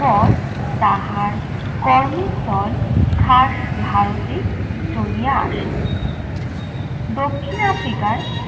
পর তাহার কর্মস্থল খাস ভারতে চলিয়া আসে। দক্ষিণ africa র